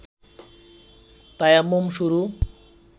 তায়াম্মুম শুরু